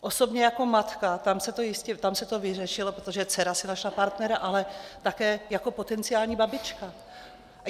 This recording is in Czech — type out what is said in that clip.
Osobně jako matka, tam se to vyřešilo, protože dcera si našla partnera, ale také jako potenciální babička.